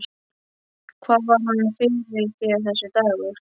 Hvað var hann fyrir þér, þessi dagur.